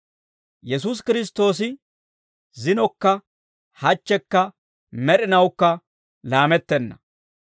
Yesuusi Kiristtoosi zinokka hachchekka med'inawukka laamettenna.